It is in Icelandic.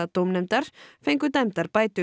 dómnefndar fengu dæmdar bætur